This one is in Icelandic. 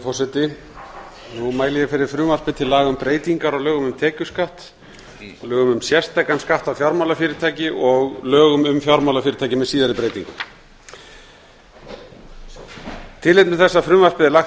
forseti nú mæli ég fyrir frumvarpi til laga um breytingar á lögum um tekjuskatt lögum um sérstakan skatt á fjármálafyrirtæki og lögum um fjármálafyrirtæki með síðari breytingum tilefni þess að frumvarpið er lagt